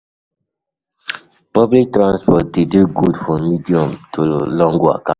Public transport de dey good for medium to long waka